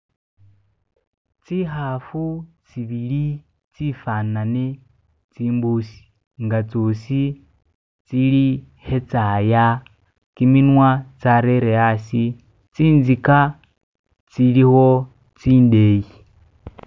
Zi kaafu zibiri zifanane zimbuusi nga zosi ziri ke zaya gyiminwa zateere aasi, zinziga ziriwo zindeeyi.